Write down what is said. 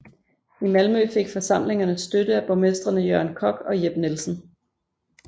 I Malmø fik forsamlingerne støtte af borgmestrene Jørgen Kock og Jep Nielsen